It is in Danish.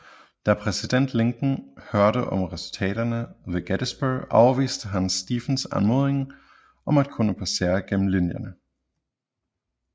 Da præsident Lincoln hørte om resultaterne ved Gettysburg afviste han Stephens anmodning om at kunne passere gennem linjerne